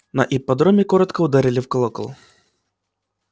на ипподроме коротко ударили в колокол